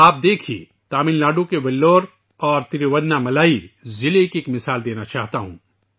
آپ دیکھئے تمل ناڈو کے ویلور اور ترووناملائی اضلاع کی مثال دینا چاہتا ہوں